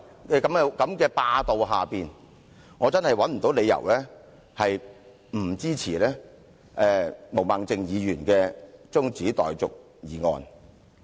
在這種霸道之下，我真的找不到理由不支持毛孟靜議員的中止待續議案。